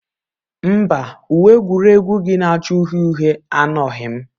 Mba, uwe egwuregwu gị na-acha uhie uhie anọghị m.